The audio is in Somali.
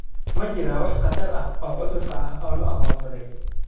Ma jiraan wax khatar ah oo cudurka ah oo la aqoonsaday.